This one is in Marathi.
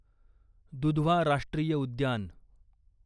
दुधवा राष्ट्रीय उद्यान